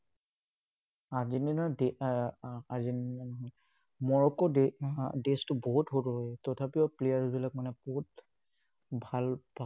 Argentina এৰ Argentina নহয়। Morocco নহয়, বহুত সৰু হয়, তথাপিও players বিলাক মানে বহুত ভাল